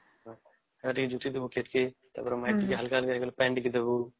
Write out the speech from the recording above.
ଜୁଟି ଦବୁ ଖେତ କେ ତା ପରେ ମାଟି ତକ ହାଲ୍କା ହାଲ୍କା ହେଇଗଲେ ପାଣି ଟିକେ ଦବୁ